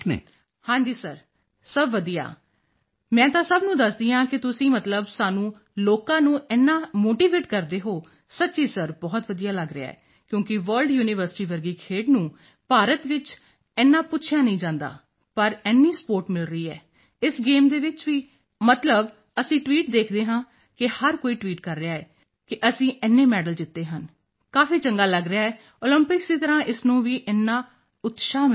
ਹਾਂ ਜੀ ਸਰ ਸਭ ਵਧੀਆ ਮੈਂ ਤਾਂ ਸਭ ਨੂੰ ਦੱਸਦੀ ਹਾਂ ਕਿ ਤੁਸੀਂ ਮਤਲਬ ਸਾਨੂੰ ਲੋਕਾਂ ਨੂੰ ਇੰਨਾ ਮੋਟੀਵੇਟ ਕਰਦੇ ਹੋ ਸੱਚੀ ਸਰ ਬਹੁਤ ਵਧੀਆ ਲੱਗ ਰਿਹਾ ਹੈ ਕਿਉਂਕਿ ਵਰਲਡ ਯੂਨੀਵਰਸਿਟੀ ਵਰਗੀ ਖੇਡ ਨੂੰ ਭਾਰਤ ਵਿੱਚ ਇੰਨਾ ਪੁੱਛਿਆ ਵੀ ਨਹੀਂ ਜਾਂਦਾ ਪਰ ਇੰਨੀ ਸਪੋਰਟ ਮਿਲ ਰਹੀ ਹੈ ਇਸ ਗੇਮ ਚ ਵੀ ਮਤਲਬ ਅਸੀਂ ਟਵੀਟ ਵੀ ਦੇਖ ਰਹੇ ਹਾਂ ਕਿ ਹਰ ਕੋਈ ਟਵੀਟ ਕਰ ਰਿਹਾ ਹੈ ਕਿ ਅਸੀਂ ਇੰਨੇ ਮੈਡਲ ਜਿੱਤੇ ਹਨ ਕਾਫੀ ਚੰਗਾ ਲੱਗ ਰਿਹਾ ਹੈ ਓਲੰਪਿਕਸ ਦੀ ਤਰ੍ਹਾਂ ਇਸ ਨੂੰ ਵੀ ਇੰਨਾ ਉਤਸ਼ਾਹ ਮਿਲ ਰਿਹਾ ਹੈ